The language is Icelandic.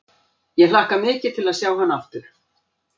Ég hlakka mikið til að sjá hann aftur.